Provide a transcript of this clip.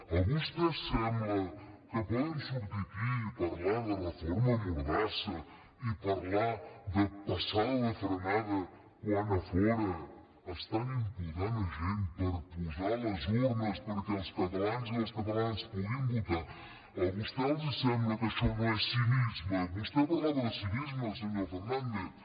a vostès els sembla que poden sortir aquí i parlar de reforma mordassa i parlar de passada de frenada quan a fora estan imputant gent per posar les urnes perquè els catalans i les catalanes puguin votar a vostès els sembla que això no és cinisme vostè parlava de cinisme senyor fernández